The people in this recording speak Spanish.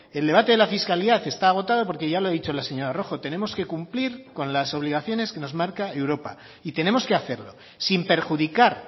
el debate de la fiscalidad está agotado porque ya lo he dicho la señora rojo tenemos que cumplir con las obligaciones que nos marca europa y tenemos que hacerlo sin perjudicar